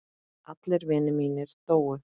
Allir vinir mínir dóu.